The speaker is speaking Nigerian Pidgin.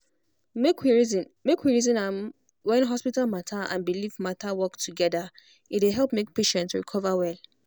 make we reason make we reason am when hospital matter and belief matter work together e dey help make patient recover well.